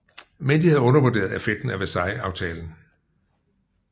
Men de havde undervurderet effekten af Versaillesaftalen